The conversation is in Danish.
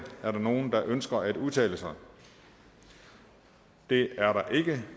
er der nogen der ønsker at udtale sig det er der ikke